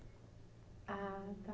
Ah, tá.